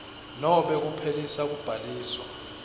nobe kuphelisa kubhaliswa